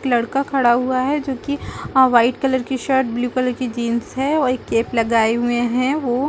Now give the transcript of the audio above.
एक लड़का खड़ा हुआ है जो की वाइट कलर की शर्ट ब्लू कलर की जीन्स है और एक कैप लगाया हुए है वो--